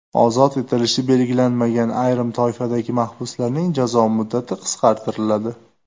Ozod etilishi belgilanmagan ayrim toifadagi mahbuslarning jazo muddati qisqartiriladi.